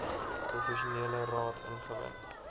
professionele raad ingewin